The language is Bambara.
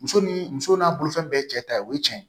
Muso ni muso n'a bolofɛn bɛɛ ye cɛ ta ye o ye cɛn ye